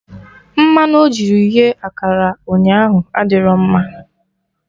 Mmanụ ojiri the akara ụnyaahụ adịro mma